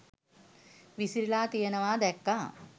විසිරිලා තියෙනවා දැක්කා.